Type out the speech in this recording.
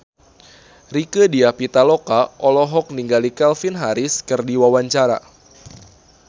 Rieke Diah Pitaloka olohok ningali Calvin Harris keur diwawancara